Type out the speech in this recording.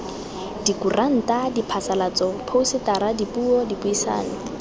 dikuranta diphasalatso phousetara dipuo dipuisano